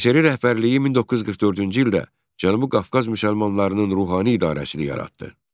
SSRİ rəhbərliyi 1944-cü ildə Cənubi Qafqaz müsəlmanlarının ruhani idarəsini yaratdı.